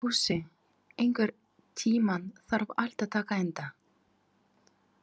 Fúsi, einhvern tímann þarf allt að taka enda.